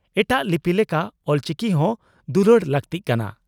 ᱮᱴᱟᱜ ᱞᱤᱯᱤ ᱞᱮᱠᱟ ᱚᱞᱪᱤᱠᱤ ᱦᱚᱸ ᱫᱩᱞᱟᱹᱲ ᱞᱟᱹᱠᱛᱤᱜ ᱠᱟᱱᱟ ᱾